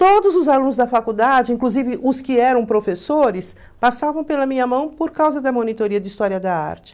Todos os alunos da faculdade, inclusive os que eram professores, passavam pela minha mão por causa da monitoria de História da Arte.